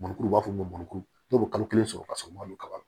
Murukuru u b'a fɔ ma ko n'o bɛ kalo kelen sɔrɔ ka sɔrɔ malo kaba la